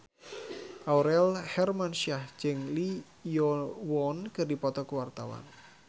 Aurel Hermansyah jeung Lee Yo Won keur dipoto ku wartawan